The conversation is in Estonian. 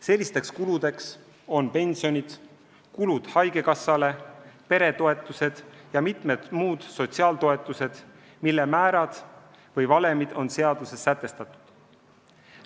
Sellised kulud on pensionid, summad haigekassale, peretoetused ja mitmed muud sotsiaaltoetused, mille määrad või valemid on seaduses sätestatud.